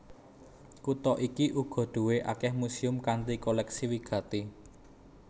Kutha iki uga duwé akèh muséum kanthi kolèksi wigati